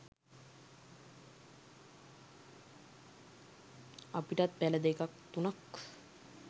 අපිටත් පැල දෙකක් තුනක්